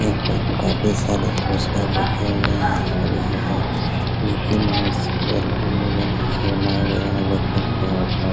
यहाँ पे काफी सारे पुरुस्कार रखे हुए हैं और यहाँ पे मिक्की माउस बैलून वैगेरा सब